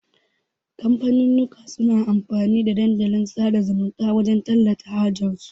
kamfanunnuka suna amfani da Dandalin sada zumunta wajan tallata hajar su